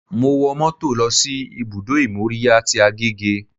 Mo wo mọ́tò lọ sí ibùdó ìmóríyá tí Agege